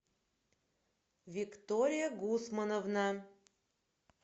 виктория гусмановна